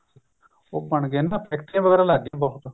ਫੈਕਟਰੀਆਂ ਵਗੈਰਾ ਲੱਗ ਗੀਆਂ ਬਹੁਤ